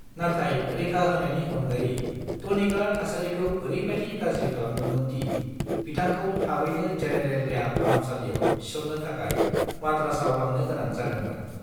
नाथाय रैखा होनायनि अनगायै, टनिकआ थासारिखौ ओरैबादि गाज्रि खालामदोंमोन दि बिथांखौ थाबैनो जेनेरेल देहा फाहामसालियाव थिसननो थाखाय माद्रासआव लांनो गोनां जादोंमोन।